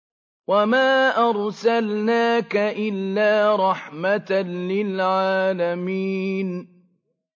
وَمَا أَرْسَلْنَاكَ إِلَّا رَحْمَةً لِّلْعَالَمِينَ